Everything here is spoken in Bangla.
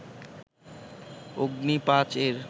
অগ্নি-৫ এর